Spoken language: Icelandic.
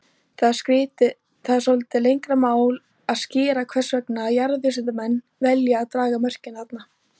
Það er svolítið lengra mál að skýra hvers vegna jarðvísindamenn velja að draga mörkin þarna.